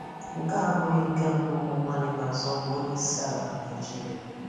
Nke a abụghị nke mbụ ụmụnwaanyị na-azọ ọgwu onyeisiala na Naịjirịa.